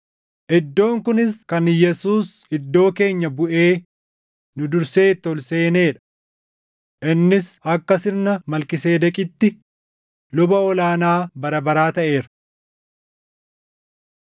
iddoon kunis kan Yesuus iddoo keenya buʼee nu dursee itti ol seenee dha. Innis akka sirna Malkiiseedeqitti luba ol aanaa bara baraa taʼeera.